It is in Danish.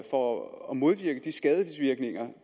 for at modvirke de skadevirkninger